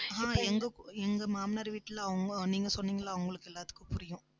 ஆஹ் எங்க எங்க மாமனார் வீட்டில அவங்க நீங்க சொன்னீங்கல்ல அவங்களுக்கு எல்லாத்துக்கும் புரியும்